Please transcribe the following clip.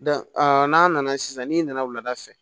n'a nana sisan n'i nana wulada fɛ